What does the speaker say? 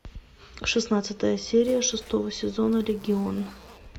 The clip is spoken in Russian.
шестнадцатая серия шестого сезона легион